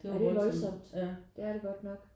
Ja det er voldsomt det er det godt nok